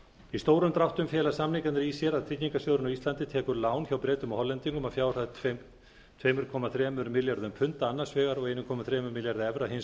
í stórum dráttum fela samningarnir í sér að tryggingarsjóðurinn á íslandi tekur lán hjá bretum og hollendingum að fjárhæð tvö komma þrír milljarðar punda annars vegar og einn komma þrír milljarðar evra hins